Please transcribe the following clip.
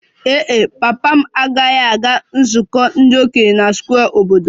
Ee e, papa m agaghị aga nzukọ ndị okenye na Square obodo